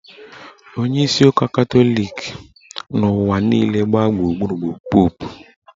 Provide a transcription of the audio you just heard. Onyeisi ụka Katọlik n'ụwa niile gbaa gburugburu bụ Popu